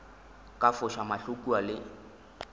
ka foša mahlo kua le